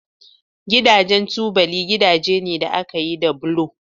Gidajen tubali gidaje ne da aka yi da bulo